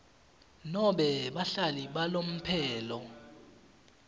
nobe bahlali balomphelo